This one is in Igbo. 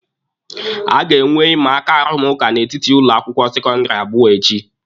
A ga-enwe imaaka arụmụka n'etiti ụlọ akwụkwọ sekọndịrị abụọ echi.